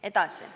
Edasi.